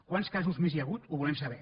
quants casos més hi ha hagut ho volem saber